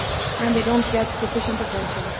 and they do not get sufficient attention.